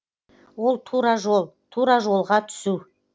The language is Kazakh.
ол тура жол тура жолға түсу